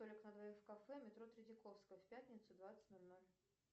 столик на двоих в кафе метро третьяковская в пятницу двадцать ноль ноль